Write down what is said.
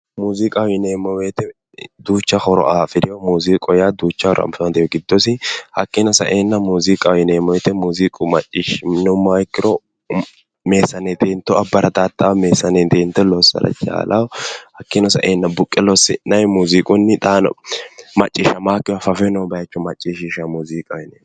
Muziiqaho yinneemo woyte duucha horo afirino, muziiqa yaa duucha horo afirino giddosi hakkino saenna muziiqaho yinneemmo woyte muziiqa macciishshineemmoha ikkiro meesanetto hiitto abarattata meesanetto lossira dandiinanni, hakkino saenna buqqe lossi'nanni muziiqunni ,xaano macciishshamanokkire fafe noore macciishshishano.